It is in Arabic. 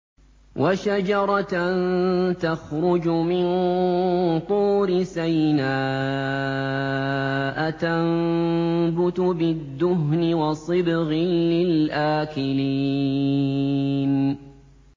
وَشَجَرَةً تَخْرُجُ مِن طُورِ سَيْنَاءَ تَنبُتُ بِالدُّهْنِ وَصِبْغٍ لِّلْآكِلِينَ